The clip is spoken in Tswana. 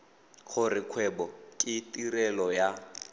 gore kgwebo ke tirelo ya